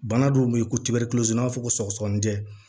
Bana dɔw be ye ko tibɛrɛ n'a fɔ sɔgɔsɔgɔnijɛ